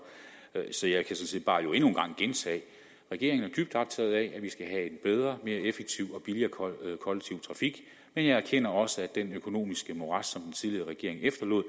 så jeg kan sådan set bare endnu en gang gentage at regeringen er dybt optaget af at vi skal have en bedre mere effektiv og billigere kollektiv trafik men jeg erkender også at det økonomiske morads som den tidligere regering efterlod